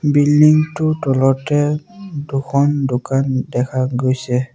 Building টোৰ তলতে দুখন দোকান দেখা গৈছে।